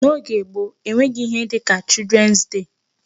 N'oge gboo e nweghị ihe dịka Children's day.